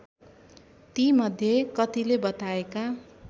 तीमध्ये कतिले बताएका